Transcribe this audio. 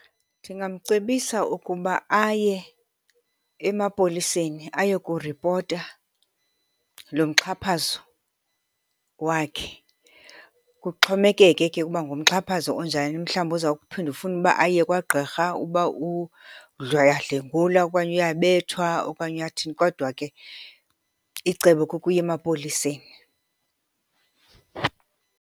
Ndingamcebisa ukuba aye emapoliseni ayokuripota lo mxhaphazo wakhe. Kuxhomekeke ke ukuba ngumxhaphazo onjani, mhlawumbi oza kuphinda ufuna uba aye kwagqirha ukuba uyadlwengulwa okanye uyabethwa okanye uyathini. Kodwa ke icebo kukuya emapoliseni.